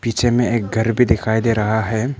पीछे में एक घर भी दिखाई दे रहा है।